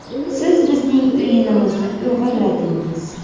Siz bizning o‘yinimizni o‘g‘irladingiz.